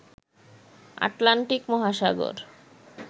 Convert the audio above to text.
Atlantic মহাসাগর